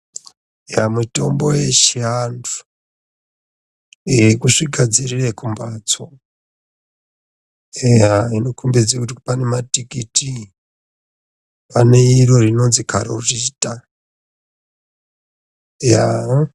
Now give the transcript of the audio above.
Mitombo yechiantu yekuzvigadzirire kumbatso, inokombedze kuti pane matikiti ane iro rinozwi karorita .